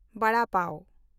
ᱣᱟᱲᱟ ᱯᱟᱣ